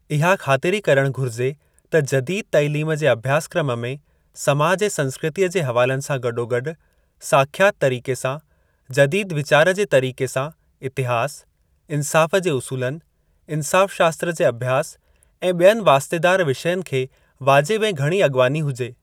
इहा ख़ातिरी करणु घुरिजे त जदीद - तइलीम जे अभ्यासक्रम में समाज ऐं संस्कृतीअ जे हवालनि सां गॾोगॾु साख्यात तरीक़े सां, जदीद वीचार जे तरीक़े सां इतिहास, इंसाफ़ जे उसूलनि, इंसाफ़ शास्त्र जे अभ्यास ऐं बि॒यनि वास्तेदार विषयनि खे वाजिब ऐं घणी अॻवानी हुजे।